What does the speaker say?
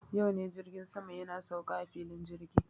Yau ne jirgin sama yana sauka a filin jirgi.